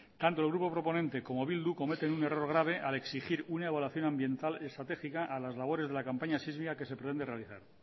tanto el grupo proponente como bildu cometen un error grave al exigir una evaluación ambiental estratégica a las labores de la campaña sísmica que se pretende realizar